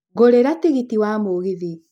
ngũrĩra tigiti wa mũgithi